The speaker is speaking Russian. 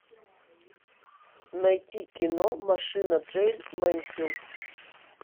найти кино машина джейн мэнсфилд